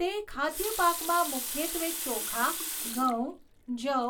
તે ખાદ્ય પાકમાં મુખ્યત્વે ચોખા, ઘઉં, જવ,